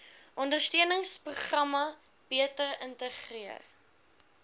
ondersteuningsprogramme beter integreer